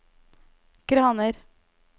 kraner